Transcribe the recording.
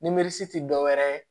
ti dɔwɛrɛ ye